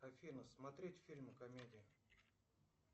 афина смотреть фильмы комедии